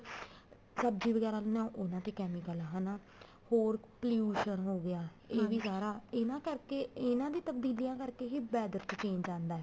ਸਬ੍ਜ਼ੀ ਵਗੈਰਾ ਲੈਂਦੇ ਹਾਂ ਉਹਨਾ ਤੇ chemical ਹਨਾ ਹੋਰ pollution ਹੋਗਿਆ ਇਹ ਵੀ ਸਾਰਾ ਇਹਨਾ ਕਰਕੇ ਇਹਨਾ ਦੀ ਤਬਦੀਲੀਆਂ ਕਰਕੇ ਹੀ weather ਚ change ਆਉਂਦਾ